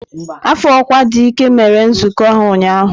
Afọ ọkwa dị ike mere nzukọ ha ụnyaahụ.